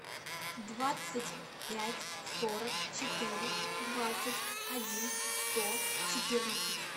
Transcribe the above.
двадцать пять сорок четыре двадцать один сто четырнадцать